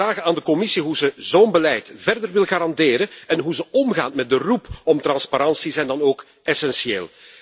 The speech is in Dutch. De vraag aan de Commissie hoe ze zo'n beleid verder wil garanderen en hoe ze omgaat met de roep om transparantie is dan ook essentieel.